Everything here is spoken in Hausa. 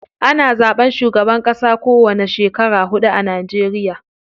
Ana zaɓen shugaban ƙasa ko wani shekara huɗu a Najeriya.